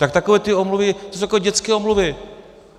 Tak takové ty omluvy, to jsou takové dětské omluvy.